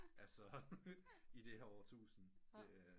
Altså i det her årtusinde